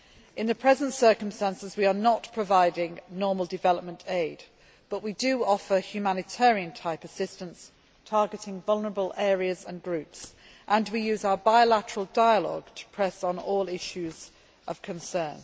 In the present circumstances, we are not providing normal development aid, but we do offer humanitarian type assistance, targeting vulnerable areas and groups, and we use our bilateral dialogue to press on all issues of concern.